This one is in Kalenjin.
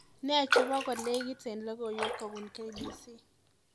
Nee chebo kolekit ak logoiwek kobun k.b.c